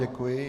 Děkuji.